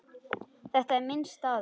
Þetta er minn staður.